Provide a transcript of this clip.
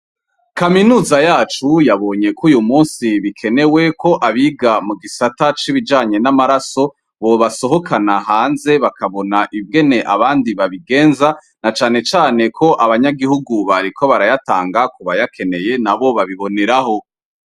Kaminuza yacu yabonye ko uyu musi bikenewe ko abiga mu gisata c'ibijanye n'amaraso bobasohokana hanze bakabona ibwene abandi babigenza na canecane ko abanyagihugu bari ko barayatanga kubayakeneye na bo babiboniraho.